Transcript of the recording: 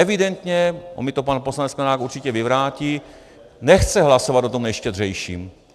Evidentně, on mi to pan poslanec Sklenák určitě vyvrátí, nechce hlasovat o tom nejštědřejším.